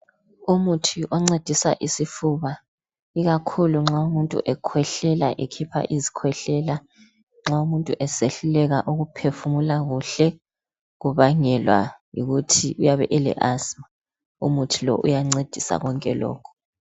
Umuthi oncedisa isifuba ikakhulu nxa umuntu ekhwehlela ekhipha izikhwehlela, nxa umuntu esehluleka ukuphefumula kuhle kubangelwa yikuthi uyabe ele asima, umuthi lo uyancedisa konke lokhu.